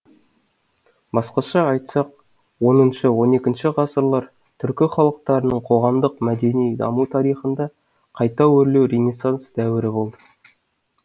басқаша айтсақ оныншы он екінші ғасырлар түркі халықтарының қоғамдық мәдени даму тарихында қайта өрлеу ренессанс дәуірі болды